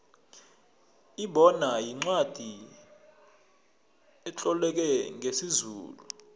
ibona yincwacli etloleke ngesizulu